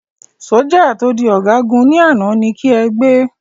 sójà to di ọgagun ni àná, ní ki ẹ gbé